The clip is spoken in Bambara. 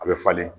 A bɛ falen